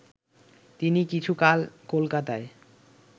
তিনি কিছুকাল কলকাতায়